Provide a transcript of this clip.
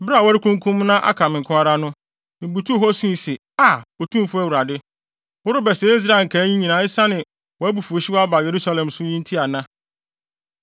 Bere a wɔrekunkum na aka me nko ara no, mibutuw hɔ sui se, “Aa, Otumfo Awurade! Worebɛsɛe Israel nkae yi nyinaa esiane wʼabufuwhyew a aba Yerusalem so yi nti ana?”